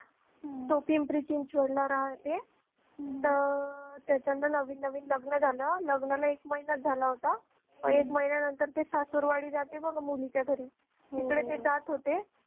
तो पिंपरी चिंचवडला राहतो तर त्याचा नवीन नवीन लग्न झालं लग्नाला एक महिना झाला होता मग एक महिन्यानंतर तो सासुरवाडी जाते बघा मुलीच्या घरी तिकडे ते जात होते